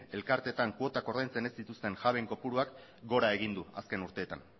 elkarteetan kuotak ordaintzen ez dituzten jabeen kopuruak gora egin du azken urteetan